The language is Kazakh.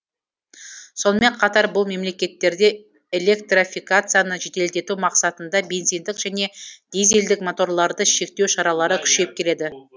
сонымен қатар бұл мемлекеттерде электрофикацияны жеделдету мақсатында бензиндік және дизельдік моторларды шектеу шаралары күшейіп келеді